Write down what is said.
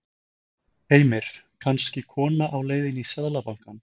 Heimir: Kannski kona á leiðinni í Seðlabankann?